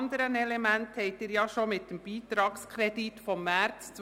Wir kommen zur Abstimmung zum Traktandum 34: